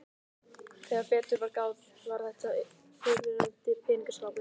Þegar betur var að gáð var þetta fyrrverandi peningaskápur.